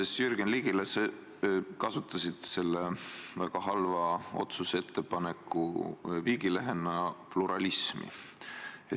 Vastuses Jürgen Ligile kasutasid sa selle väga halva otsuse viigilehena pluralismi.